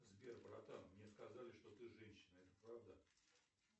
сбер братан мне сказали что ты женщина это правда